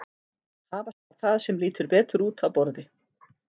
Hafa skal það sem lítur betur út á borði.